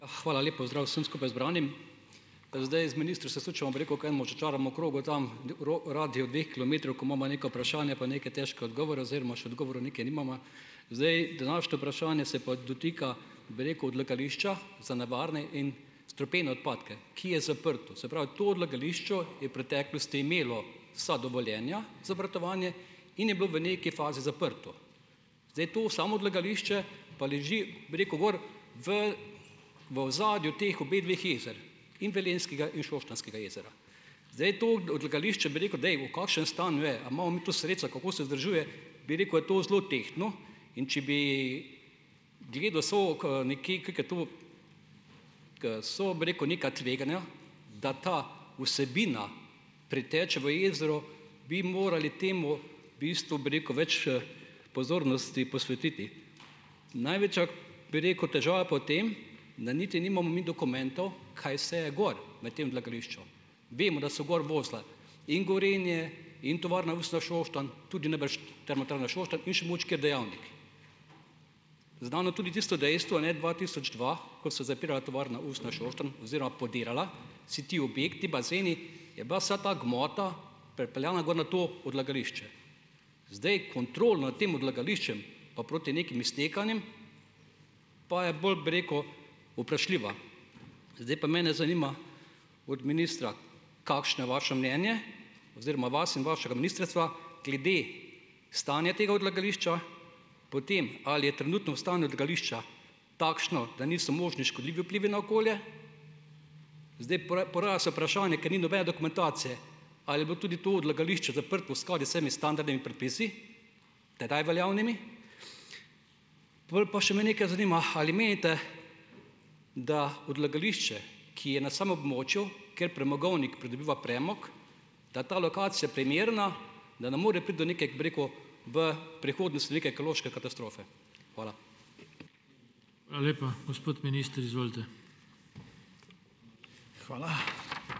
Hvala. Lep pozdrav vsem skupaj zbranim. Da zdaj, z sučemo, bi rekel, k enemu začaranemu krogu tam radiju dveh kilometrov, ko imamo neka vprašanja pa neke težke odgovore oziroma še odgovorov nikjer nimava. Zdaj, današnje vprašanje se pa dotika, bi rekel, odlagališča za nevarne in strupene odpadke, ki je zaprto. Se pravi, to odlagališče je v preteklosti imelo vsa dovoljenja za obratovanje in je bilo v nekaj fazi zaprto. Zdaj, to samo odlagališče pa leži, bi rekel, gor v, v ozadju teh obedveh jezer. In Velenjskega in Šoštanjskega jezera. Zdaj, to odlagališče, bi rekel, da je v kakšnem stanju je, a imamo mi to sredstva, kako se vzdržuje, bi rekel, a je to zelo tehtno, in če bi gledal , ko so, bi rekel, neka tveganja, da ta vsebina preteče v jezero, bi morali temu, bistvu bi rekel, več, pozornosti posvetiti. Največja, bi rekel, težava pa v tem, da niti nimamo mi dokumentov, kaj vse je gor v tem odlagališču. Vemo, da so gor vozila in Gorenje in tovarna Šoštanj, tudi najbrž Šoštanj in še ker dejavnik. Znano tudi tisto dejstvo, ne, dva tisoč dva, ko so zapirala tovarna usnja Šoštanj oziroma podirala, si ti objekti, bazeni, je bila vsa ta gmota prepeljana gor na to odlagališče. Zdaj, kontrolo na tem odlagališču pa proti nekim iztekanjem, pa je bolj, bi rekel, vprašljiva. Zdaj pa mene zanima, od ministra, kakšno je vaše mnenje, oziroma vas in vašega ministrstva, glede stanja tega odlagališča. Potem, ali je trenutno stanje odlagališča takšno, da niso možni škodljivi vplivi na okolje? Zdaj, poraja se vprašanje, ker ni nobene dokumentacije, ali je bilo tudi to odlagališče zaprto skoraj vsemi standardnimi predpisi, tedaj veljavnimi? Pol pa me še nekaj zanima, ali menite, da odlagališče, ki je na območju, ker premogovnik pridobiva premog, da ta lokacija primerna, da ne more priti do neke, bi rekel, v prihodnosti neke ekološke katastrofe? Hvala. Hvala lepa. Gospod minister, izvolite. Hvala ...